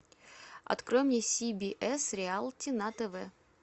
открой мне си би эс реалити на тв